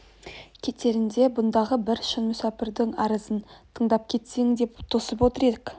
кетеріңде бұндағы бір шын мүсәпрдің арызын тыңдап кетсең деп тосып отыр ек